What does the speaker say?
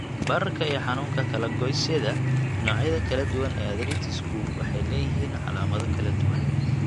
Bararka iyo Xanuunka Kala-goysyada Noocyada kala duwan ee arthritis-ku waxay leeyihiin calaamado kala duwan.